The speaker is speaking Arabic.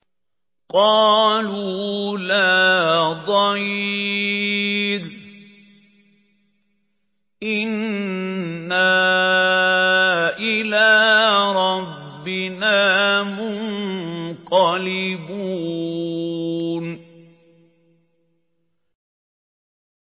قَالُوا لَا ضَيْرَ ۖ إِنَّا إِلَىٰ رَبِّنَا مُنقَلِبُونَ